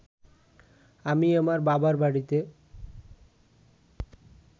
আমি আমার বাবার বাড়িতে